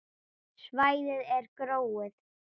Svæðið er gróið.